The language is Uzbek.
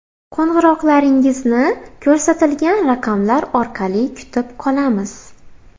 Qo‘ng‘iroqlaringizni ko‘rsatilgan raqamlar orqali kutib qolamiz.